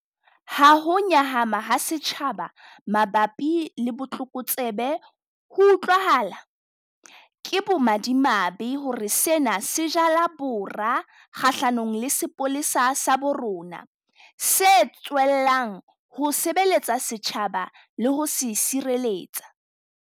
Ha ho nyahama ha setjhaba mabapi le botlokotsebe ho utlwahala, ke bomadimabe hore sena se jala bora kgahlanong le sepolesa sa bo rona, se tswellang ho sebeletsa setjhaba le ho se sireletsa.